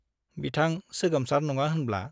बिथां सोगोमसार नङा होनब्ला ?